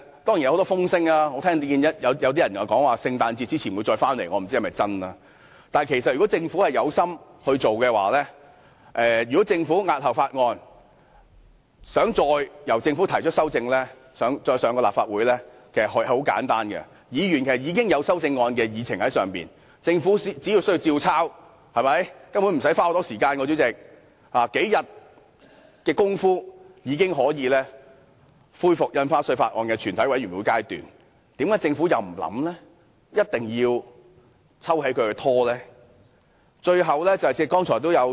當然有很多風聲，我聽到有些人說政府在聖誕節前會再向立法會提交《條例草案》，我不知道是否真確，但如果政府在押後處理《條例草案》後，想再向立法會提交修正案，手續可以很簡單，議員既然已經提出修正案，並將之列入議程，政府只須依樣葫蘆，根本無須花很長時間便可迅速恢復《條例草案》的全體委員會審議階段，政府為甚麼不考慮，而一定要撤回《條例草案》而造成拖延呢？